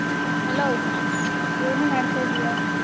Hello , ಏನೇ ಮಾಡ್ತಾ ಇದೀಯಾ?